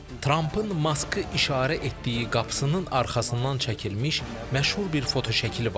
Trampın Maskı işarə etdiyi qapısının arxasından çəkilmiş məşhur bir fotoşəkili var.